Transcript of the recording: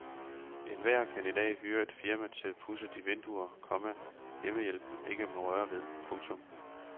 Enhver kan i dag hyre et firma til at pudse de vinduer, komma hjemmehjælpen ikke må røre ved. punktum